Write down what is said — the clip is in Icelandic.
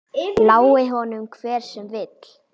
Lái honum hver sem vill.